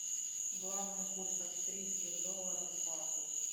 главный курс австрийских долларов к бату